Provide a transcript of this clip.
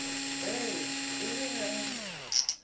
ee e le ge a